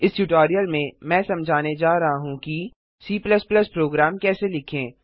इस ट्यूटोरियल में मैं समझाने जा रहा हूँकि C प्रोग्राम कैसे लिखें